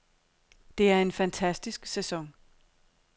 Det er en fantastisk sæson.